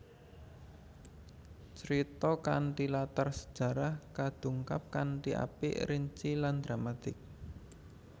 Crita kanthi latar sejarah kadungkap kanthi apik rinci lan dramatik